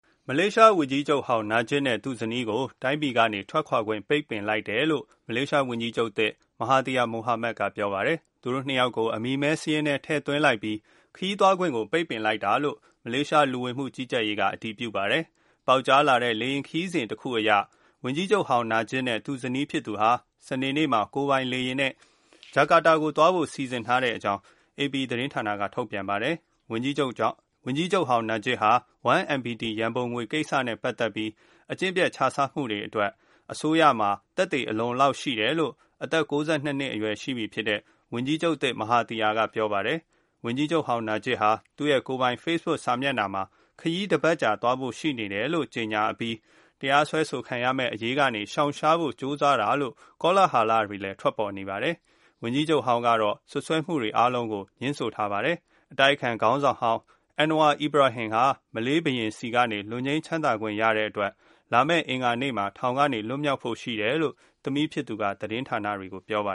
မလေးရှား ဝန်ကြီးချုပ်ဟောင်းနာဂျစ်ရာဇာတ် နဲ့ သူဇနီးကို တိုင်းပြည်အတွင်းက ထွက်ခွာခွင့် ပိတ်ပင်လိုက်တယ်လို့ မလေးရှားဝန်ကြီးချုပ်သစ် မဟာသီယာ မိုဟာမက် က ပြောပါတယ်။ သူတို့ ၂ ယောက်ကို အမည်မည်း စာရင်းထဲ ထည့်သွင်းလိုက်ပြီး ခရီးသွားခွင့် ကို ပိတ်ပင်လိုက်တာလို့ မလေးရှား လူဝင်မှု ကြီးကြပ်ရေးက အတည်ပြုပါတယ်။ ပေါက်ကြားလာတဲ့ လေယာဉ်ခရီးစဉ် တခုအရ ဝန်ကြီးချုပ်ဟောင်း နာဂျစ် နဲ့ သူ့ ဇနီး ဖြစ်သူဟာ စနေနေ့မှာကိုယ်ပိုင် လေယာဉ် နဲ့ အင်ဒိုနီးရှားနိုင်ငံ ဂျာကာတာကို သွားဖို့ စီစဉ်ထားတဲ့ အကြောင်း အေပီ သတင်းဌာနက ထုတ်ပြန်ပါတယ်။ ဝန်ကြီးချုပ်ဟောင်းနာဂျစ်ဟာ 1MDB ရန်ပုံငွေ ကိစ္စ နဲ့ ပတ်သက်ပြီး အကျင့်ပျက်ခြစားမှု အတွက် အစိုးရမှာ သက်သေ အလုံအလောက်ရှိတယ် အသက် ၉၂ နှစ်အရွယ်ရှိပြီ ဖြစ်တဲ့ ဝန်ကြီးချုပ် သစ် မဟာ သီယာ က ပြောပါတယ်။ ဝန်ကြီးချုပ်ဟောင်း နာဂျစ်ဟာ သူရဲ့ ကိုယ်ပိုင် ဖေ့ဘုတ် စာမျက်နှာမှာ ခရီးတစ်ပတ်ကြာ သွားဖို့ ရှိနေတယ်လို့ ကြေငြာအပြီး တရားစွဲဆိုခံရမယ် အရေးကနေ ရှောင်ရှားဖို့ ကြိုးစားတာလို့ ကောလဟာလတွေလည်း ထွက်ပေါ်နေပါတယ်။ ဝန်ကြီးချုပ်ဟောင်းကတော့ စွပ်စွဲမှုတွေ အားလုံးကို ငြင်းဆိုထားပါတယ်။ တဆက်တည်းမှာပဲ အတိုက်အခံခေါင်းဆောင်ဟောင်း Anwar Ibrahim ဟာ မလေးရှားဘုရင်ဆီကနေ လွတ်ငြိမ်းချမ်းသာခွင့်ရတဲ့အတွက် လာမယ့် အင်္ဂါနေ့မှာ ထောင်က လွတ်မြောက်ဖို့ရှိတယ်လို့ သမီးဖြစ်သူက သတင်းဌာနတွေ ကို ပြောပါ